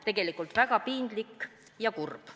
Tegelikult väga piinlik ja kurb.